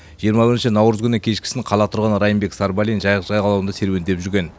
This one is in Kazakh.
жиырма бірінші наурыз күні кешкісін қала тұрғыны райымбек сарбалин жайық жағалауында серуендеп жүрген